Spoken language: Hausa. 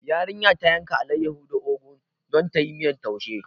Yarinya ta yanka alaiyahu da ogu don tayi miyar taushi